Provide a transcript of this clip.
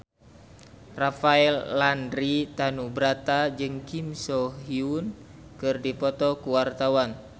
Rafael Landry Tanubrata jeung Kim So Hyun keur dipoto ku wartawan